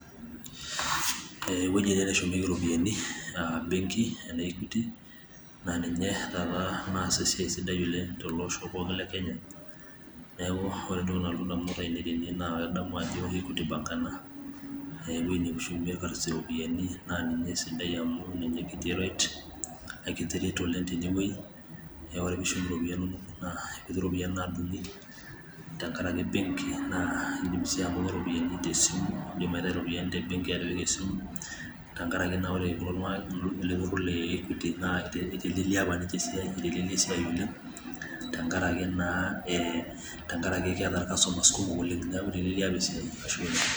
Ooh ewueji ene neshumieki iropiyiani ah benki e Equity, ah ninye taata nas esiai sidai oleng' te ele osho pookin le Kenya. Neeku ore entoki nalotu indamunot ainei tene na kadamu ajo ke Equity bank ena, ewueji neshumie irkasisi iropiyiani na ninye esidai amu ninye kii eret. Akiti eret oleng' tenewei. Neeku ore pishum iropiyiani nonok naa kekuti iropiyiani nadung'i, tenkaraki benki. Naa idim si anoto iropiyiani te simu. Idim aitau iropiyiani te benki atipika esimu. Tenkaraki na ore kulo tung'anak le Equity ekigili aponiki esiai, ekinteleliki esiai oleng',tenkaraki naa e tenkaraki keeta irkasomas kumok oleng'. Neeku keeta esiai. Ashe oleng'.